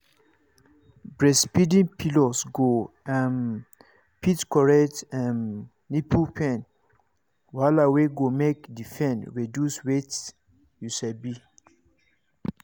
breastfeeding pillows go um fit correct um nipple pain wahala wey go make the pain reduce wait you sabi